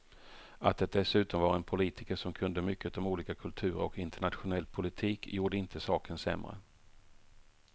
Att det dessutom var en politiker som kunde mycket om olika kulturer och internationell politik gjorde inte saken sämre.